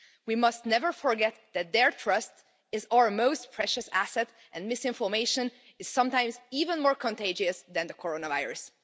We must never forget that their trust is our most precious asset, and misinformation is sometimes even more contagious than the coronavirus.